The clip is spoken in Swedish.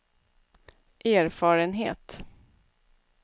erfarenhet